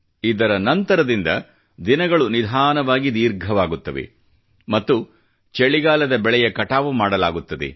ಇದರ ನಂತರದಿಂದ ದಿನಗಳು ನಿಧಾನವಾಗಿ ದೀರ್ಘವಾಗುತ್ತವೆ ಮತ್ತು ಚಳಿಗಾಲದ ಬೆಳೆಯ ಕಟಾವು ಮಾಡಲಾಗುತ್ತದೆ